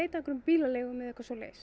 einhverjum bílaleigum eða eitthvað svoleiðis